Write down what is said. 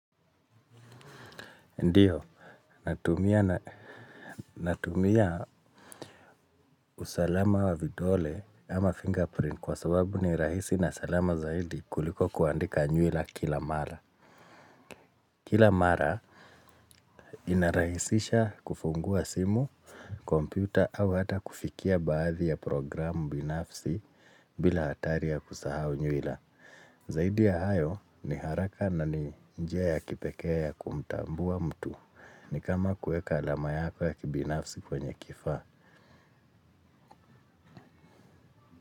Ndiyo, natumia usalama wa vidole ama fingerprint kwa sababu ni rahisi na salama zaidi kuliko kuandika nyuila kila mara. Kila mara inarahisisha kufungua simu, kompyuta au hata kufikia baadhi ya programu binafsi bila hatari ya kusahau nyuila. Zaidi ya hayo ni haraka na ni njia ya kipekee ya kumtambua mtu. Ni kama kueka alama yako ya kibinafsi kwenye kifaa.